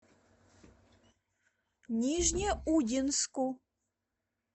нижнеудинску